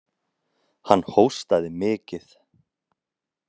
Hann hóstaði mikið.